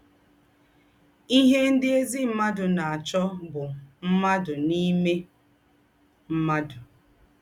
Íhè ndị̀ ézí mmádụ̀ na-àchọ́ bụ́ mmádụ̀ n’ímè mmádụ̀